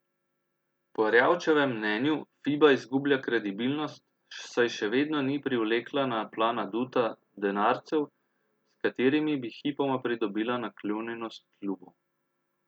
Po Erjavčevem mnenju Fiba izgublja kredibilnost, saj še vedno ni privlekla na plan aduta, denarcev, s katerimi bi hipoma pridobila naklonjenost klubov.